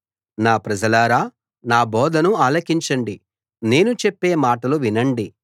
నా ప్రజలారా నా బోధను ఆలకించండి నేను చెప్పే మాటలు వినండి